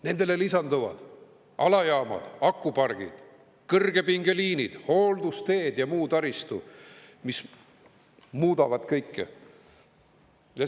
Nendele lisanduvad alajaamad, akupargid, kõrgepingeliinid, hooldusteed ja muu taristu, mis muudavad kõike.